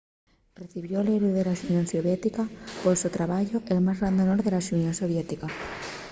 recibió'l héroe de la xunión soviética” pol so trabayu el más grande honor de la xunión soviética